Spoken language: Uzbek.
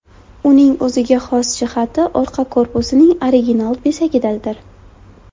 Uning o‘ziga xos jihati orqa korpusining original bezagidadir.